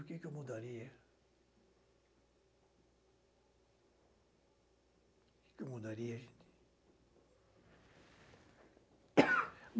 O que que eu mudaria? O que que eu mudaria gente?